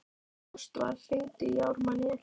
Ástvar, hringdu í Ármanníu.